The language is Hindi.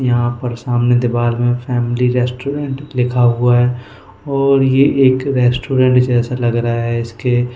यहां पर सामने दीवाल में फैमिली रेस्टोरेंट लिखा हुआ है और ये एक रेस्टोरेंट जैसा लग रहा है इसके।